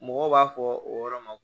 Mɔgɔw b'a fɔ o yɔrɔ ma